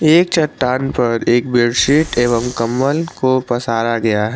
एक चट्टान पर एक बेडशीट एवं कमल को पसारा गया है।